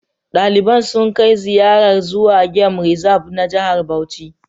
Daliban sun kai ziyarar zuwa gem rizab na Jihar Bauchi